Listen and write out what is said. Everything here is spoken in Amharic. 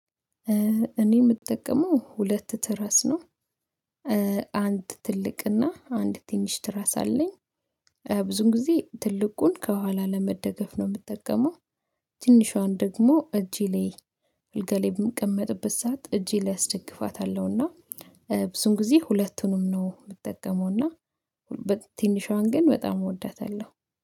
እኔ የምጠቀመው ሁለት ትራስ ነው። አንድ ትልቅና አንድ ትንሽ ትራስ አለኝ። ብዙን ጊዜ ትልቁን ከኋላ ለመደገፍ ነው የምጠቀመው። ትንሿን ደግሞ እጄ ላይ አልጋ ላይ በምቀመጥበት ሰዓት እጄ ላይ አስደግፋታለሁና። ብዙን ጊዜ ሁለቱንም ነው የምትጠቀመው እና በትንሿን ግን በጣም እወዳታለሁ